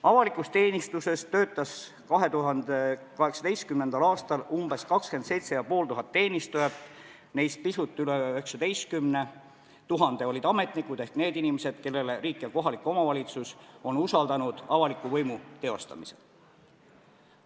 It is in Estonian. Avalikus teenistuses töötas 2018. aastal umbes 27 500 teenistujat, neist pisut üle 19 000 olid ametnikud ehk need inimesed, kellele riik ja kohalik omavalitsus on usaldanud avaliku võimu teostamise.